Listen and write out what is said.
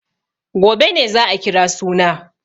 Gobe ne za a kira suna.